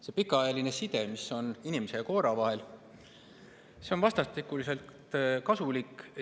See pikaajaline side, mis on inimese ja koera vahel, on vastastikuselt kasulik.